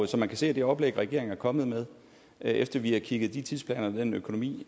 som man kan se af det oplæg regeringen er kommet med efter vi har kigget de tidsplaner og den økonomi